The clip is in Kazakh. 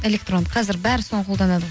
электронды қазір бәрі соны қолданады ғой